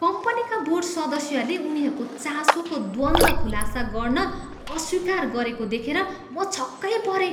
कम्पनीका बोर्ड सदस्यहरूले उनीहरूको चासोको द्वन्द्व खुलासा गर्न अस्वीकार गरेको देखेर म छक्कै परेँ।